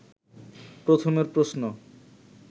প্রথমের প্রশ্ন